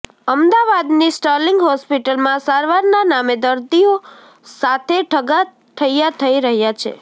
અમદાવાદની સ્ટર્લિંગ હોસ્પિટલમાં સારવારના નામે દર્દીઓ સાથે ઠગા ઠૈયા થઇ રહ્યા છે